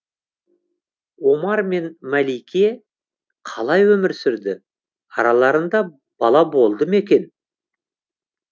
омар мен мәлике қалай өмір сүрді араларында бала болды ма екен